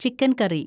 chicken കറി